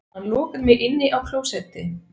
Hann lokaði mig inni á klósetti